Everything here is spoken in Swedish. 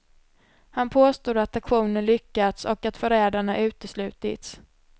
Han påstod att aktionen lyckats och att förrädarna uteslutits.